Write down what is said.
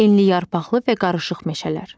Enliyarpaqlı və qarışıq meşələr.